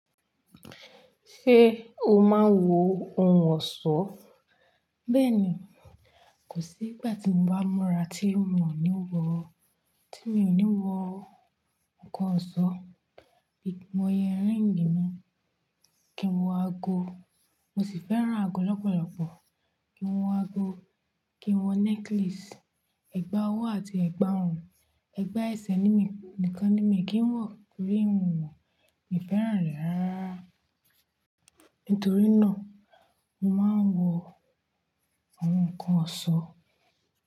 Ṣé o máa ń wọ ohun ọ̀ṣọ́? Bẹ́ẹ̀ni, kò sí ìgbà tí mo bá múra tí mo ò ní wọ, tí mi ò ní wọ nnkan ọ̀ṣọ́. Bí mo yẹ ring mi, kí n wọ ago. Mo sìì fẹ́ran ago lọ́pọ̀lọ́pọ̀. Kí n wọ ago, kí n wọ necklace. Ẹ̀gbà ọwọ́ àti ẹ̀gbà ọrùn, ẹgbẹ́ ẹsẹ̀ ni mí nìkan ni mi kì í wọ̀ torí mi fẹ́ran rẹ̀ rárá. Nítorí náà, mo máa ń wọ àwọn nnkan ọ̀ṣọ́